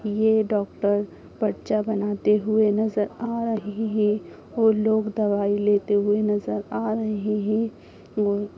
यह डॉक्टर पर्चा बनाते हुए नजर आ रहे है और लोग दवाई लेते हुए नजर आ रहे है।